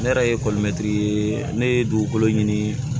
Ne yɛrɛ ye ne ye dugukolo ɲini